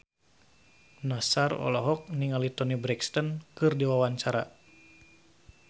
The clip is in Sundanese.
Nassar olohok ningali Toni Brexton keur diwawancara